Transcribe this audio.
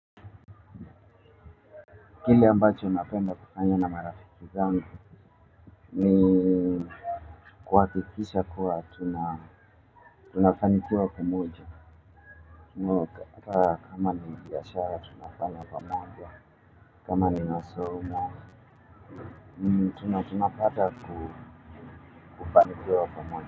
Kile ambacho napenda kufanya na marafiki zangu ni kuhakikisha kuwa tunafanikiwa pamoja, kama ni biashara tunafanya pamoja kama ni masomo tunapata kufanikiwa pamoja.